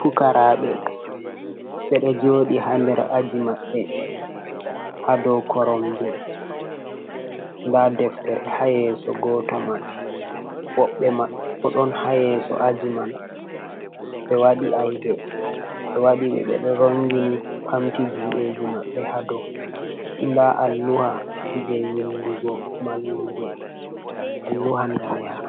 Pukaraɓe ɓeɗo joɗi ha nder aji maɓɓe ha do korom je, nda deftere hayeso goto man woɓɓe maɓɓe boɗon hayeso aji man ɓe waɗi aib ɓe wai ɓedo rongini ɓamti judeji mabɓe hado, nda al luha je windugo mallumjo al luha ndaneha,